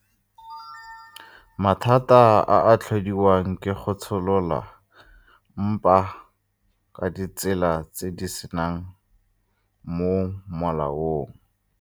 Mathata a a tlhodiwang ke go tsholola mpa ka ditsela tse di seng mo molaong.